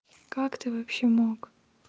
как ты вообще мог